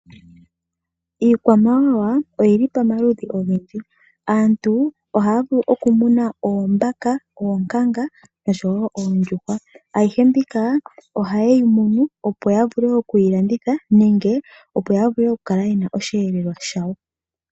Iikwamawawa oyili pamaludhi ogendji. Aantu ohaa vulu okumuna oombaka, oonkanga noshowo oondjuhwa. Ayihe mbika ohaye yi munu opo ya vule okuyi landitha nenge opo ya vule oku kala yena osheelelwa shawo.